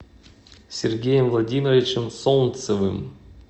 сергеем владимировичем солнцевым